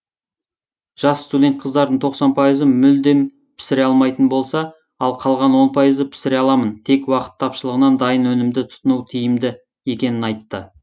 жас студент қыздардың тоқсан пайызы мүлдем пісіре алмайтын болса ал қалған он пайызы пісіре аламын тек уақыт тапшылығынан дайын өнімді тұтыну тиімді екенін айтты